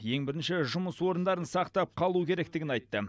ең бірінші жұмыс орындарын сақтап қалу керектігін айтты